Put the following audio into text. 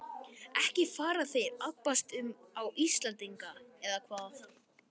Ekki fara þeir að abbast upp á Íslendinga, eða hvað?